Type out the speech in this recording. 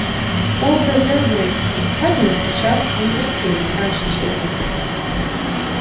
образы-обрывки пятна на сетчатке не картины а ощущения